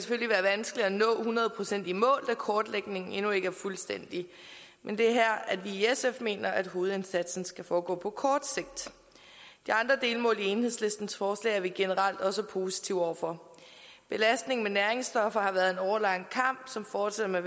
vanskeligt at nå hundrede procent i mål da kortlægningen endnu ikke er fuldstændig men det er her at vi i sf mener at hovedindsatsen skal foregå på kort sigt de andre delmål i enhedslistens forslag er vi generelt også positive over for belastningen med næringsstoffer har været en årelang kamp som fortsætter med